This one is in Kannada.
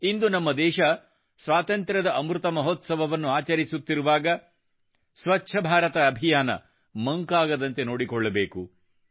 ಇಂದು ನಮ್ಮ ದೇಶ ಸ್ವಾತಂತ್ರ್ಯದ ಅಮೃತ ಮಹೋತ್ಸವವನ್ನು ಆಚರಿಸುತ್ತಿರುವಾಗ ಸ್ವಚ್ಛ ಭಾರತ ಅಭಿಯಾನ ಮಂಕಾಗದಂತೆ ನೋಡಿಕೊಳ್ಳಬೇಕು